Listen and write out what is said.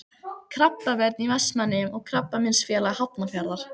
Krabbavörn í Vestmannaeyjum og Krabbameinsfélag Hafnarfjarðar.